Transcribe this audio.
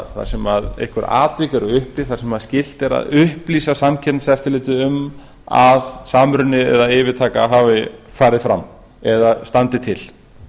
þar sem einhver atvik eru uppi þar sem skylt er að upplýsa samkeppniseftirlitið um að samruni eða yfirtaka hafi farið fram eða standi til